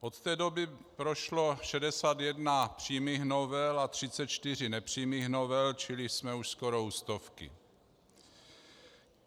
Od té doby prošlo 61 přímých novel a 34 nepřímých novel, čili jsme už skoro u stovky.